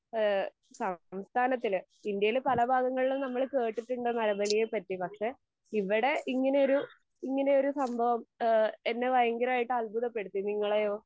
ഈഹ് സംസ്ഥാനത്തിൽ ഇന്ത്യയിൽ പല ഭാഗങ്ങളിലും നമ്മൾ കേട്ടിട്ടുണ്ട് നരബലിയെ പറ്റി. പക്ഷെ ഇവിടെ ഇങ്ങനെ ഒരു ഇങ്ങനെ ഒരു സംഭവം ഇഹ് എന്നെ ഭയങ്കരായിട്ട് അത്ഭുതപ്പെടുത്തി. നിങ്ങളെയോ?